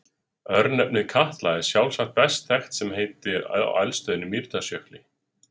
Örnefnið Katla er sjálfsagt best þekkt sem heiti á eldstöðinni í Mýrdalsjökli.